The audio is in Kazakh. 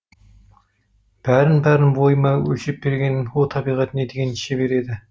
бәрін бәрін бойыма өлшеп берген о табиғат не деген шебер еді